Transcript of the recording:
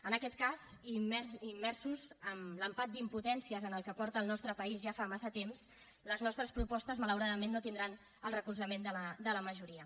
en aquest cas immersos en l’empat d’impotències en què és el nostre país ja fa temps les nostres propostes malauradament no tindran el recolzament de la majoria